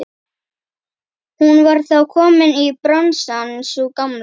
Hún var þá komin í bransann sú gamla!